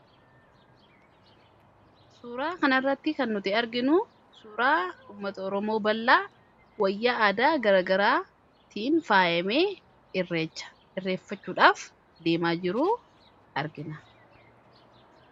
suuraa kanairratti kan nuti arginu suuraa ummata oromoo ballaa wayya aadaa garagaraa tiin faayimee hirreeffachuudhaaf deemaa jiruu argina